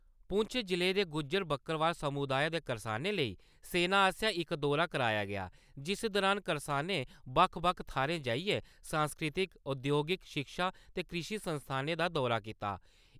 पुंछ जिले दे गुज्जर, बक्करवाल समुदाय दे करसानें लेई सेना आस्सेया इक दौरा कराया गेया, जिस दौरान करसानें बक्ख-बक्ख थाहरें जाइयै सांस्कृतिक, औद्योगिक, शिक्षा ते कृषि संस्थानें दा दौरा कीता।